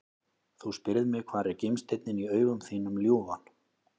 Þú spyrð mig hvar er gimsteinninn í augum þínum ljúfan?